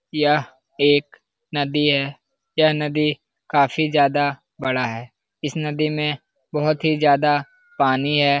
यह एक नदी है। यह नदी काफी ज्यादा बड़ा है। इस नदी में बहुत ही ज्यादा पानी है।